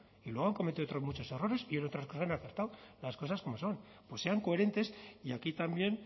y luego han cometido otros muchos errores y en otras cosas han acertado las cosas como son pues sean coherentes y aquí también